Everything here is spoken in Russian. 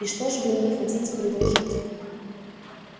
и что же вы мне хотите предложить